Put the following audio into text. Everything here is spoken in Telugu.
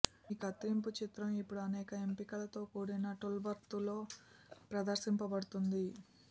మీ కత్తిరింపు చిత్రం ఇప్పుడు అనేక ఎంపికలతో కూడిన టూల్బార్తో ప్రదర్శించబడుతుంది